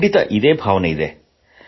ಖಂಡಿತಾ ಅದೇ ಭಾವನೆ ಇದೆ